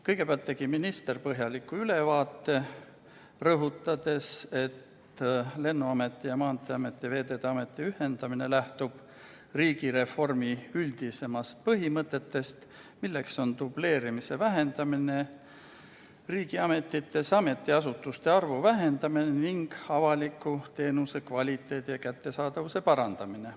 Kõigepealt tegi minister põhjaliku ülevaate, rõhutades, et Lennuameti, Maanteeameti ja Veeteede Ameti ühendamine lähtub riigireformi üldisematest põhimõtetest, milleks on dubleerimise vähendamine riigiametites, ametiasutuste arvu vähendamine ning avalike teenuste kvaliteedi ja kättesaadavuse parandamine.